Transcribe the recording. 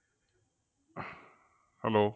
Hello